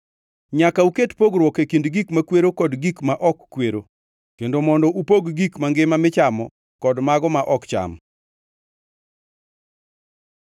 Nyaka uket pogruok e kind gik makwero kod gik ma ok kwero, kendo mondo upog gik mangima michamo kod mago ma ok cham.’ ”